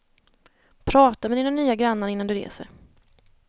Prata med dina nya grannar innan du reser.